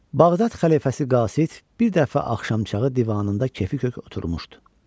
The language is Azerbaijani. Bağdad xəlifəsi Qasid bir dəfə axşamçağı divanında kefi kök oturmuşdu.